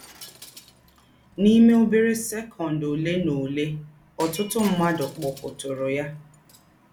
N’ímè ọ́bérẹ́ sɛ́kọ̀nd ọ̀lè nà ọ̀lè, ọ̀tụ̀tụ̀ mmádụ̀ kpọ̀tụ̀rụ̀ yá.